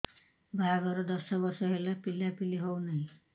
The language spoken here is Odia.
ବାହାଘର ଦଶ ବର୍ଷ ହେଲା ପିଲାପିଲି ହଉନାହି